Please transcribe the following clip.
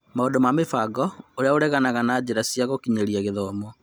Maũndũ ma mũbango ũrĩa ũreganaga na njĩra cia gũkinyĩra gĩthomo.